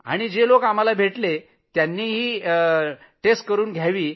आणि जे लोक आम्हाला भेटले होते त्यांनीही चाचणी करून घ्यावी